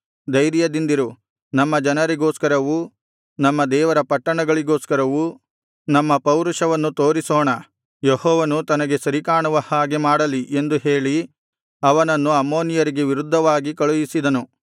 ಧೈರ್ಯದಿಂದಿರು ನಮ್ಮ ಜನರಿಗೋಸ್ಕರವೂ ನಮ್ಮ ದೇವರ ಪಟ್ಟಣಗಳಿಗೋಸ್ಕರವೂ ನಮ್ಮ ಪೌರುಷವನ್ನು ತೋರಿಸೋಣ ಯೆಹೋವನು ತನಗೆ ಸರಿಕಾಣುವ ಹಾಗೆ ಮಾಡಲಿ ಎಂದು ಹೇಳಿ ಅವನನ್ನು ಅಮ್ಮೋನಿಯರಿಗೆ ವಿರುದ್ಧವಾಗಿ ಕಳುಹಿಸಿದನು